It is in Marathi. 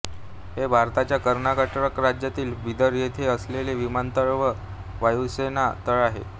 हे भारताच्या कर्नाटक राज्यातील बीदर येथे असलेले विमानतळ व वायुसेना तळ आहे